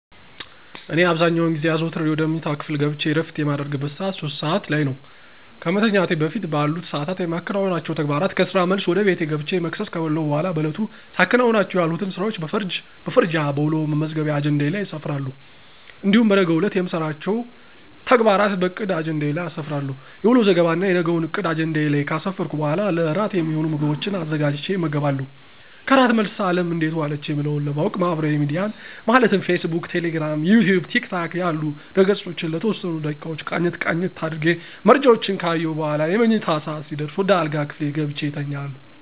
እኔ አብዛኛውን ጊዜ አዘውተሬ ወደ መኝታ ክፍሌ ገብቸ እረፍት የማደርግበት ሰዓት 3:00 (ሦስት ሰዓት) ላይ ነው። ከመተኛቴ በፊት በአሉት ሰዓታት የማከናውናቸው ተግባራት ከስራ መልስ ወደ ቤቴ ገብቸ መክሰስ ከበላሁ በኋላ በዕለቱ ሳከናውናቸው የዋልሁትን ስራዎች በፈርጅ በፈርጃ በውሎ መመዝገቢያ አጀንዳዬ ላይ አሰፍራለሁ። እንዲሁም በነገው ዕለት የምሰራቸውን ተግባራት በዕቅድ አጀንዳዬ ላይ አሰፍራለሁ። የውሎ ዘገባና የነገውን ዕቅድ አጀንዳዬ ላይ ከአሰፈርሁ በኋላ ለእራት የሚሆኑ ምግቦችን አዘጋጅቸ እመገባለሁ። ከእራት መልስ አለም እንዴት ዋለች የሚለውን ለማዎቅ ማህበራዊ ሚዲያን ማለትም ፌስ ቡክ፣ ቴሌግራም፣ ዩትዩብ፣ ቲክቶክ ያሉ ድህረ-ገፆችን ለተወሰኑ ደቂቃዎች ቃኘት ቃኘት አድርጌ መረጃዎችን ከአየሁ በኋላ የመኝታ ሰዓት ሲደርስ ወደ አልጋ ክፍሌ ገብቸ እተኛለሁ።